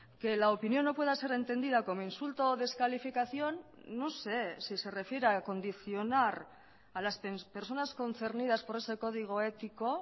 que la opinión no pueda ser entendida como insulto o descalificación no sé si se refiere a condicionar a las personas concernidas por ese código ético